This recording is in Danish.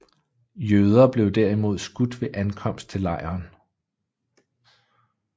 Jøder blev derimod skudt ved ankomst til lejren